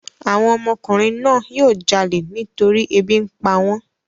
Àwọn ọmọkùnrin náà yóò jalè nítorí ebi ń pa wọ́n.